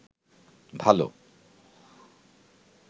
ভালো